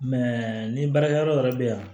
nin baarakɛyɔrɔ yɛrɛ bɛ yan